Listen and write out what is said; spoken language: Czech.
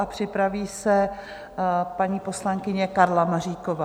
A připraví se paní poslankyně Karla Maříková.